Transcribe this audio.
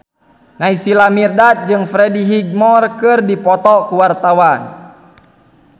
Naysila Mirdad jeung Freddie Highmore keur dipoto ku wartawan